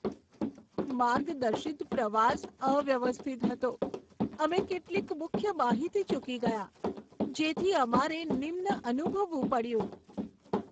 માર્ગદર્શિત પ્રવાસ અવ્યવસ્થિત હતો, અમે કેટલીક મુખ્ય માહિતી ચૂકી ગયાં, જેથી અમારે નિમ્ન અનુભવવું પડ્યું.